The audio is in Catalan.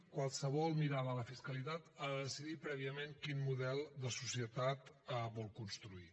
qualsevol mirada a la fiscalitat ha de decidir prèviament quin model de societat vol construir